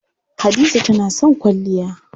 Hadiza tana son kwalliya.